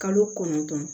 Kalo kɔnɔntɔn